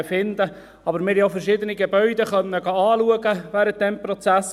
Aber wir haben während dieses Prozesses auch verschiedene Gebäude besichtigen können.